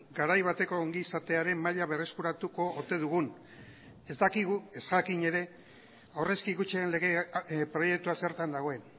garai bateko ongizatearen maila berreskuratuko ote dugun ez dakigu ez jakin ere aurrezki kutxen proiektua zertan dagoen